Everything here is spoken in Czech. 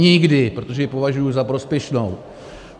Nikdy, protože ji považuji za prospěšnou.